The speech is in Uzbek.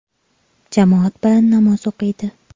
Jamoat bilan namoz o‘qiydi.